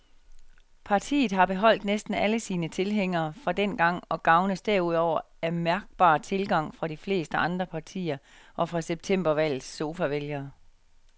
Partiet har beholdt næsten alle sine tilhængere fra dengang og gavnes derudover af mærkbar tilgang fra de fleste andre partier og fra septembervalgets sofavælgere.